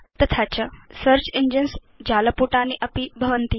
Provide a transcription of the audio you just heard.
अन्ततो गत्वा search engines जालपुटानि अपि भवन्ति